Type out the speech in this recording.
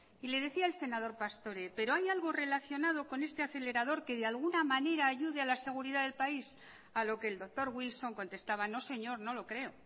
y le decía el senador pastore pero hay algo relacionado con este acelerador que de alguna manera ayude a la seguridad del país a lo que el doctor wilson contestaba no señor no lo creo